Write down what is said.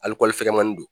Hali kɔli fɛgɛmani don